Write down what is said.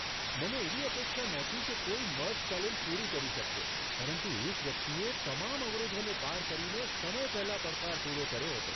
મને એવી અપેક્ષા નહોતી કે કોઈ મર્ફ ચેલેન્જ પૂરી કરી શકશે, પરંતુ એક વ્યક્તિએ તમામ અવરોધોને પાર કરીને સમય પહેલાં પડકાર પૂરો કર્યો હતો.